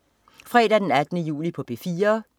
Fredag den 18. juli - P4: